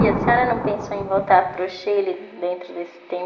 E a senhora não pensou em voltar para o Chile dentro desse tempo?